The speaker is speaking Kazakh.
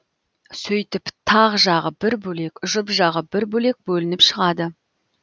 сөйтіп тақ жағы бір бөлек жұп жағы бір бөлек бөлініп шығады